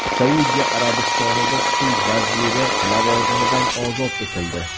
Saudiya Arabistonida suv vaziri lavozimidan ozod etildi.